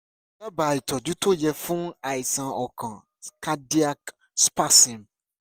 dábàá ìtọ́jú tó yẹ fún àìsàn ọkàn cardiac spasm